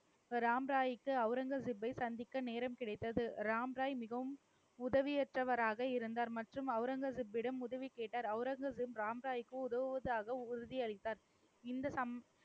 ராம் ராய்க்கு அவுரங்கசீப்பை சந்திக்க நேரம் கிடைத்தது. ராம் ராய் மிகவும் உதவியற்றவராக இருந்தார் மற்றும் அவுரங்கசீப்பிடம் உதவி கேட்டார். அவுரங்கசீப் ராம் ராய்க்கு உதவுவதாக உறுதியளித்தார். இந்த சம ~